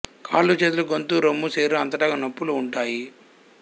కాళ్ళు చేతులు గొంతు రొమ్ము శరీరం అంతటా నొప్పులు ఉంటాయి